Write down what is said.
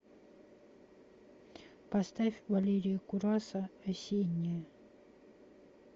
поставь валерия кураса осенняя